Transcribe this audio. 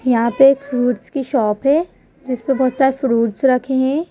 यहां पे एक फ्रूट्स की शॉप है जिस पर बहुत सारे फ्रूट्स रखे हैं।